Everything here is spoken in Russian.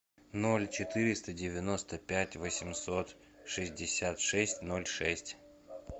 ноль четыреста девяносто пять восемьсот шестьдесят шесть ноль шесть